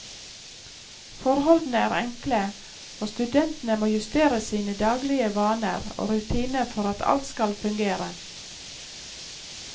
Forholdene er enkle, og studentene må justere sine daglige vaner og rutiner for at alt skal fungere.